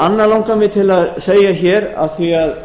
annað langar mig til að segja hér af því að